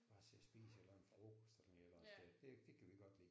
Bare sidde og spise et eller andet frokost sådan et eller andet sted det kan vi godt lide